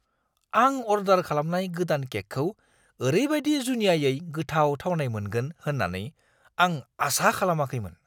आं अर्डार खालामनाय गोदान केकखौ ओरैबादि जुनियायै गोथाव थावनाय मोनगोन होननानै आं आसा खालामाखैमोन।